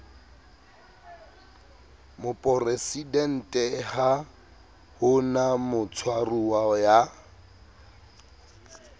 moporesidenteha ho na motshwaruwa ya